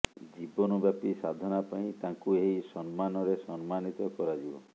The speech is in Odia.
ଜୀବନବ୍ୟାପୀ ସାଧନା ପାଇଁ ତାଙ୍କୁ ଏହି ସମ୍ମାନରେ ସମ୍ମାନିତ କରାଯିବ